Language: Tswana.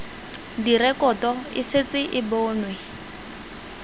direkoto e setse e bonwe